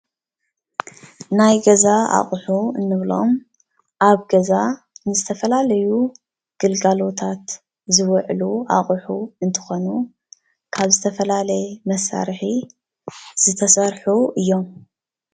ናይ ገዛ ኣቁሑ እንብሎም ኣብ ገዛ ንዝተፈላለዩ ግልጋሎታት ዝውዕሉ ኣቁሑ እንትኾኑ ካብ ዝተፈላለየ መሳርሒ ዝተሰርሑ እዮም፡፡